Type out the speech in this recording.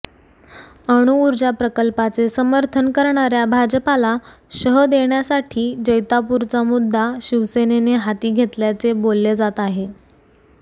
अणुऊर्जा प्रकल्पाचे समर्थन करणाऱ्या भाजपाला शह देण्यासाठी जैतापूरचा मुद्दा शिवसेनेने हाती घेतल्याचे बोलले जात आहे